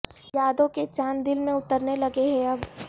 یادوں کے چاند دل میں اترنے لگے ہیں اب